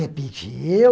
É, pediu.